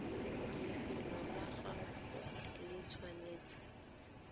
lefelo la gagwe le tshwanetse